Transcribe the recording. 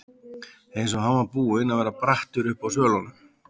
Eins og hann var búinn að vera brattur uppi á svölunum.